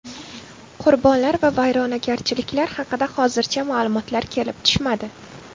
Qurbonlar va vayronagarchiliklar haqida hozircha ma’lumotlar kelib tushmadi.